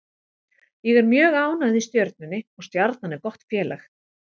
Ég er mjög ánægð í Stjörnunni og Stjarnan er gott félag.